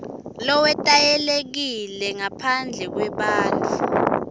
lowetayelekile ngaphandle kwebantfu